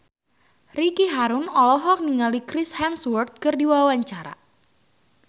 Ricky Harun olohok ningali Chris Hemsworth keur diwawancara